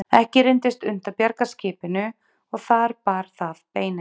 Ekki reyndist unnt að bjarga skipinu og þar bar það beinin.